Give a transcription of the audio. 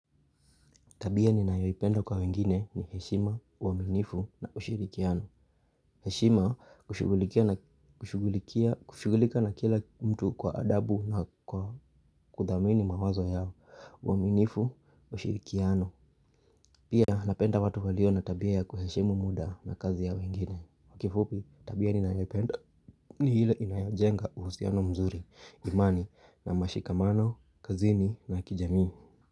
Tabia ni nayoipenda kwa wengine ni heshima, uaminifu na ushirikiano. Heshima kushugulika na kila mtu kwa adabu na kwa kuthamini mawazo yao, uaminifu, ushirikiano. Pia napenda watu walio na tabia ya kuheshimu muda na kazi ya wengine. Kifupi, tabia ninayoipenda ni ile inayojenga uhusiano mzuri, imani na mashikamano, kazini na kijamii.